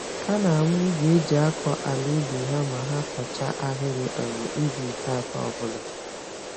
Ha na-amụ igwe eji-akọ-àlà-ubi ha ma ha kọchaa ahịrị um ubi nke atọ ọbula